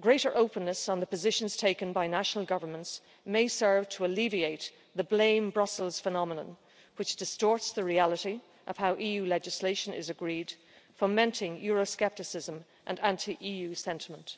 greater openness on the positions taken by national governments may serve to alleviate the blame Brussels' phenomenon, which distorts the reality of how EU legislation is agreed, fomenting euro scepticism and anti EU sentiment'.